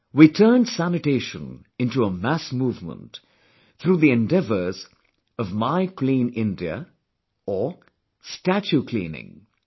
We turned sanitation into a mass movement, through the endeavours of 'My clean India' or 'Statue Cleaning'